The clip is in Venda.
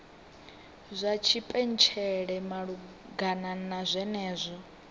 dza tshipentshela malugana na zwenezwo